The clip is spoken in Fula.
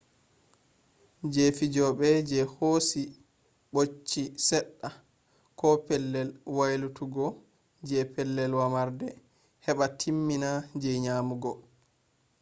je fijobe je hosi bocchi sedda koh pellel waylutuggo je pellel womarde heba timmina je nyamugo